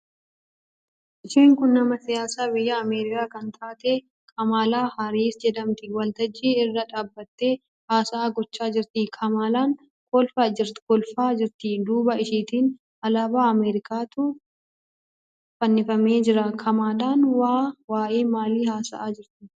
Isheen kun nama siyaasaa biyya Ameerikaa kan taate Kamaalaa Haaris jedhamti. Waltajjii irra dhaabbattee haasa'aa gochaa jirti. Kamaalaan kolfaa jirti. Duuba isheetiin alaabaa Ameerikaatu fannifamee jira. Kamaalaan waa'ee maalii haasa'aa jirti?